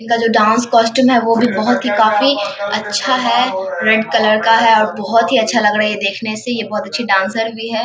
इनका जो dance costume है ओ भी बहुत ही काफी अच्छा है रेड कलर का है और बहुत ही अच्छा लग रहा है ये देखने से ये बहुत अच्छी डांसर भी है।